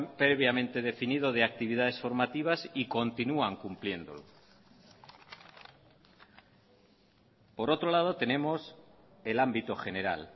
previamente definido de actividades formativas y continúan cumpliéndolo por otro lado tenemos el ámbito general